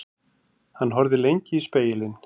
Hann horfði lengi í spegilinn.